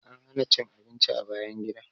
An hana cin abinci a bayan gida.